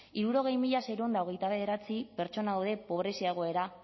hirurogei mila seiehun eta hogeita bederatzi pertsona daude pobrezia egoera